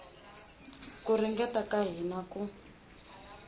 ku ringeta ka hina ku